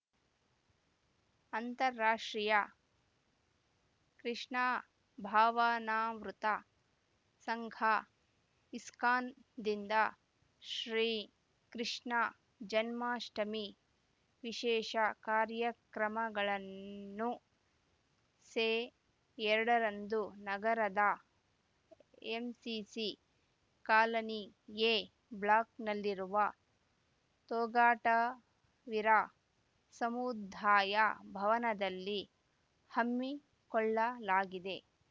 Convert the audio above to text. ಅಂತರರಾಷ್ಟ್ರೀಯ ಕೃಷ್ಣ ಭಾವನಾಮೃತ ಸಂಘಇಸ್ಕಾನ್‌ದಿಂದ ಶ್ರೀ ಕೃಷ್ಣ ಜನ್ಮಾಷ್ಟಮಿ ವಿಶೇಷ ಕಾರ್ಯಕ್ರಮಗಳನ್ನು ಸೆ ಎರಡರಂದು ನಗರದ ಎಂಸಿಸಿ ಕಾಲನಿ ಎ ಬ್ಲಾಕ್‌ನಲ್ಲಿರುವ ತೋಗಟವೀರ ಸಮುದ್ದಾಯ ಭವನದಲ್ಲಿ ಹಮ್ಮಿಕೊಳ್ಳಲಾಗಿದೆ